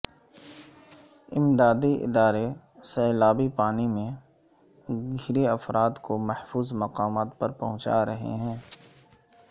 امدادی ادارے سیلابی پانی میں گھرے افراد کو محفوظ مقامات پر پہنچا رہے ہیں